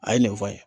A ye nin fɔ n ye